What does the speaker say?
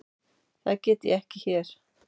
Það get ég ekki hér.